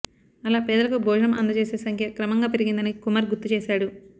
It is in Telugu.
అలా పేదలకు భోజనం అందజేసే సంఖ్య క్రమంగా పెరిగిందని కుమార్ గుర్తుచేశాడు